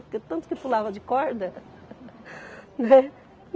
Porque tanto que pulava de corda né?